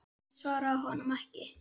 Ég svaraði honum ekki.